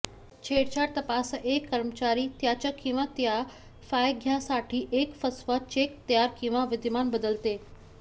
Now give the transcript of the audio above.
छेडछाड तपासा एक कर्मचारी त्याच्या किंवा तिच्या फायद्यासाठी एक फसवा चेक तयार किंवा विद्यमान बदलते